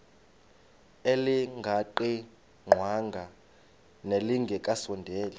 elingaqingqwanga nelinge kasondeli